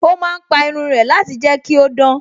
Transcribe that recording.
Ó má ń pa irun rẹ̀ láti jẹ́ kí ó dán